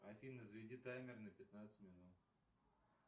афина заведи таймер на пятнадцать минут